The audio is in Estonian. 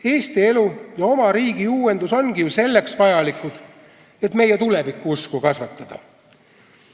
Eesti elu ja oma riigi uuendus ongi ju vajalikud selleks, et meie tulevikuusku kasvatada.